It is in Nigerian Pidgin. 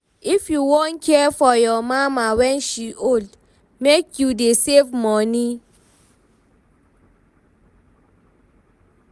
If you wan care for your mama wen she old, make you dey save moni.